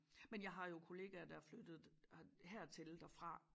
Men jeg har jo kollegaer der er flyttet her hertil derfra